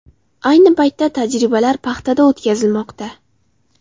Ayni paytda tajribalar paxtada o‘tkazilmoqda.